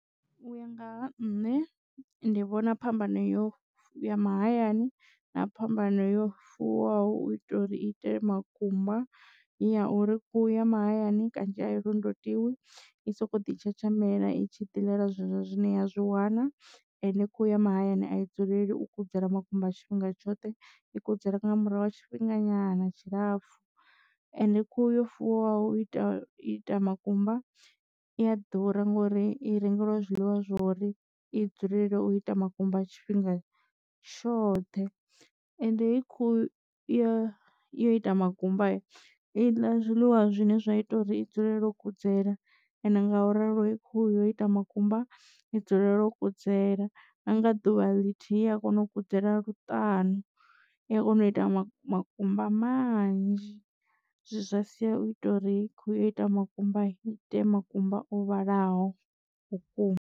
U ya nga ha nṋe ndi vhona phambano yo ya mahayani na phambano yo fuwaho u itela uri itele makumba iya uri khuhu ya mahayani kanzhi a i londotiwi i soko ḓi tshatshamelela itshi diḽela zwezwo zwine ya zwi wana ende khuhu ya mahayani a i dzuleli u kudzela makumba a tshifhinga tshoṱhe i kudzela nga murahu ha tshifhinga nyana tshilapfu ende khuhu yo fuwa u ita ita makumba i a ḓura ngori i rengeliwa zwiḽiwa zwori i dzulela u ita makumba a tshifhinga tshoṱhe. Ende hei khuhu ya u ita makumba a i ḽa zwiḽiwa zwine zwa ita uri i dzulela u kudzela ende nga u ralo he khuhu yo ita makumba i dzule no kudzela nga ḓuvha ḽithihi i a kona u kudzela luṱanu i a kona u ita makumba manzhi zwa sia u ita uri khuhu yo ita makumba i ite makumba o vhalaho vhukuma.